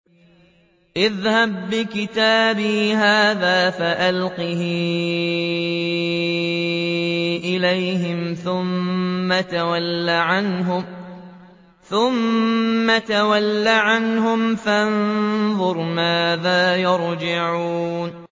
اذْهَب بِّكِتَابِي هَٰذَا فَأَلْقِهْ إِلَيْهِمْ ثُمَّ تَوَلَّ عَنْهُمْ فَانظُرْ مَاذَا يَرْجِعُونَ